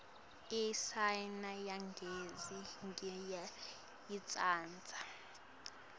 iayina yagesi ngiyayitsandza